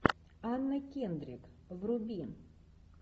анна кендрик вруби